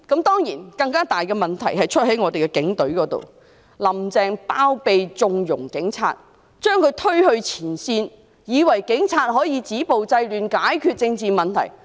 當然，更大的問題在於警隊，"林鄭"包庇和縱容警察，把他們推向前線，以為警察可以止暴制亂，藉此解決政治問題。